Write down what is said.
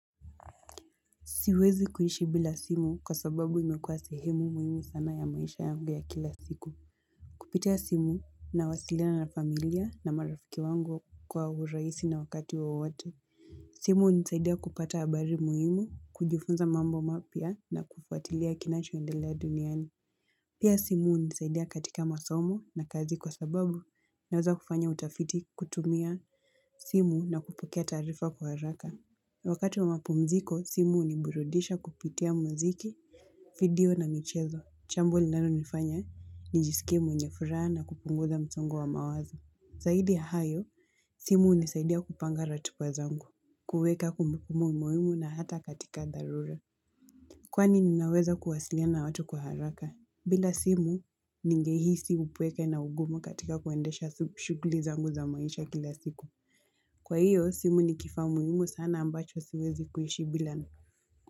Siwezi kuishi bila simu kwa sababu imekuwa sehemu muhimu sana ya maisha yangu ya kila siku. Kupitia simu nawasiliana na familia na marafiki wangu kwa urahisi na wakati wowote. Simu hunisaidia kupata habari muhimu, kujifunza mambo mapya na kufuatilia kinachoendelea duniani. Pia simu hunisaidia katika masomo na kazi kwa sababu naweza kufanya utafiti kutumia simu na kupokea taarifa kwa haraka. Wakati wa mapumziko, simu huniburudisha kupitia muziki, video na michezo. Chambo linalonifanya nijisikie mwenye furaha na kupunguza msongo wa mawazo. Zaidi ya hayo, simu hunisaidia kupanga ratiba zangu, kuweka kumbukumu muhimu na hata katika dharura. Kwani ninaweza kuwasiliana na watu kwa haraka. Bila simu ningehisi upweke na ugumu katika kuendesha shughuli zangu za maisha kila siku. Kwa hiyo, simu ni kifaa muhimu sana ambacho siwezi kuishi bila.